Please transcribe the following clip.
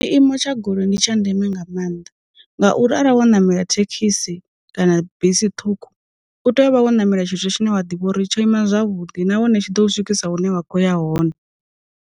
Tshiimo tsha goloi ndi tsha ndeme nga maanḓa, ngauri arali wo ṋamela thekhisi, kana bisi ṱhukhu, u tea u vha wo ṋamela tshithu tshine wa ḓivha uri tsho ima zwavhuḓi nahone tshi ḓo u swikisa hune wa kho ya hone.